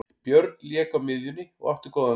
Björn lék á miðjunni og átti góðan leik.